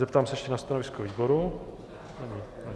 Zeptám se ještě na stanovisko výboru.